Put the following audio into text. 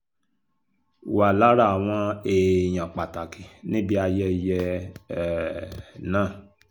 wà lára àwọn èèyàn pàtàkì níbi ayẹyẹ um náà